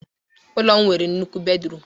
Ụlọ m nwere nnukwu bedruum